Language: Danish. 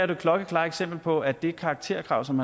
det klokkeklare eksempel på at det karakterkrav som